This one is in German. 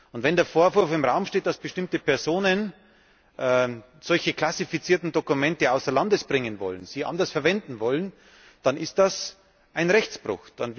Und wenn der Vorwurf im Raum steht, dass bestimmte Personen solche klassifizierten Dokumente außer Landes bringen wollen, sie anders verwenden wollen, dann ist das ein Rechtsbruch.